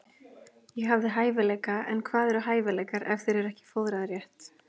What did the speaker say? Ég hafði hæfileika en hvað eru hæfileikar ef þeir eru ekki fóðraðir rétt?